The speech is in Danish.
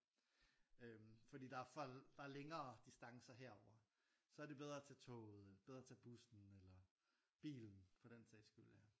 Øhm fordi der er for der er længere distancer herovre så er det bedre at tage toget eller bedre at tage bussen eller bilen for den sags skyld ja